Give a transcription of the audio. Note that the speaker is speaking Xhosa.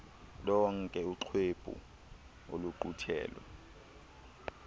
lonke uxwebhu oluqulethwe